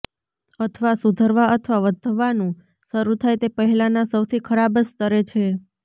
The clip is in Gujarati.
અથવા સુધરવા અથવા વધવાનું શરૂ થાય તે પહેલાંના સૌથી ખરાબ સ્તરે છે